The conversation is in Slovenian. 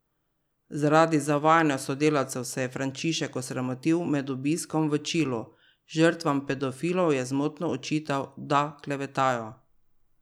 Zaradi zavajanja sodelavcev se je Frančišek osramotil med obiskom v Čilu, žrtvam pedofilov je zmotno očital, da klevetajo.